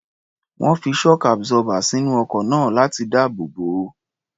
Wọ́n fi shock absorber sínú ọkọ̀ náà láti dáàbò bò ó.